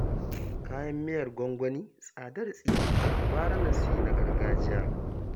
Kayan miyar gwangwani tsadar tsiya, gara na sayi na gargajiya